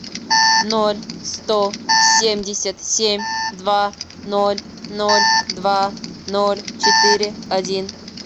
ноль сто семьдесят семь два ноль ноль два ноль четыре один